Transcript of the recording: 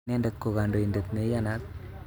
Inendet ko kandoindet ne iyanat